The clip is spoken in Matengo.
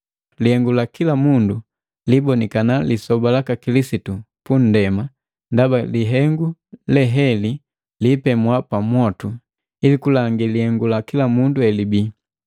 Lihengu la kila mundu libonikana Lisoba laka Kilisitu pundema ndaba lihengu le heli liipemwa mmwotu ili kulangi lihengu la kila mundu elibii.